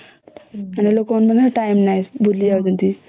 time ନାହିଁ ଭୁଲି ଯାଉଛନ୍ତି